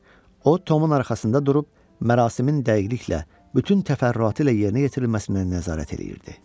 O, Tomun arxasında durub mərasimin dəqiqliklə, bütün təfərrüatı ilə yerinə yetirilməsinə nəzarət eləyirdi.